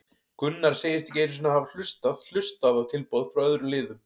Gunnar segist ekki einu sinni hafa hlustað hlustað á tilboð frá öðrum liðum.